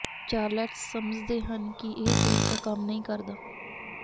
ਚਾਰਲੈਟਸ ਸਮਝਦੇ ਹਨ ਕਿ ਇਹ ਤਰੀਕਾ ਕੰਮ ਨਹੀਂ ਕਰਦਾ